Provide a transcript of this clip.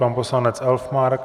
Pan poslanec Elfmark.